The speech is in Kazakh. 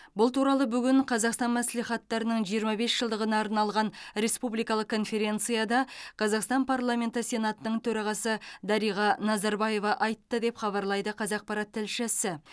бұл туралы бүгін қазақстан мәслихаттарының жиырма бес жылдығына арналған республикалық конференцияда қазақстан парламенті сенатының төрағасы дариға назарбаева айтты деп хабарлайды қазақпарат тілшісі